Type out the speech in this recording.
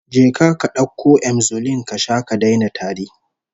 Je ka ka dauko Emzolin ka sha ka daina tari